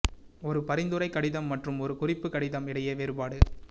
ஒரு பரிந்துரை கடிதம் மற்றும் ஒரு குறிப்பு கடிதம் இடையே வேறுபாடு